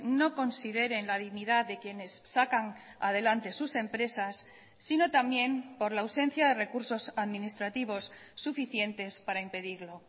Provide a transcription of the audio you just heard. no consideren la dignidad de quienes sacan adelante sus empresas sino también por la ausencia de recursos administrativos suficientes para impedirlo